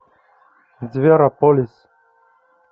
зверополис